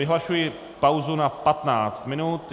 Vyhlašuji pauzu na 15 minut.